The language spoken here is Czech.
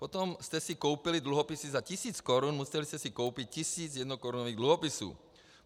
Pokud jste si koupili dluhopisy za tisíc korun, museli jste si koupit tisíc jednokorunových dluhopisů.